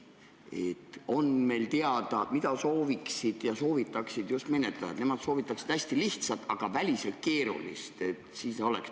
Kas on teada, mida sooviksid ja soovitaksid just menetlejad?